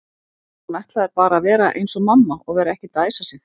Hún ætlaði bara að vera eins og mamma og vera ekkert að æsa sig.